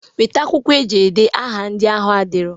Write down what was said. Weta akwụkwọ eji ede aha ndị ahụ adirọ!